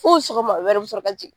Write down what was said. Fɔ o sɔgɔma wɛrɛ, u bɛ sɔrɔ ka jigin